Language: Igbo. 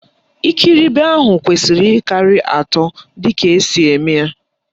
Ikiribi ahụ kwesiri ịkarị atọ dịka esi eme ya.